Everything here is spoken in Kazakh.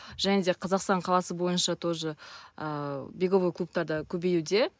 және де қазақстан қаласы бойынша тоже ыыы беговой клубтар да көбеюде